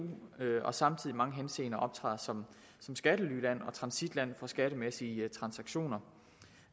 og samtidig i mange henseender optræder som skattelyland og transitland for skattemæssige transaktioner